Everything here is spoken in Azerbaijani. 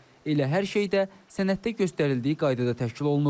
Elə hər şey də sənəddə göstərildiyi qaydada təşkil olunub.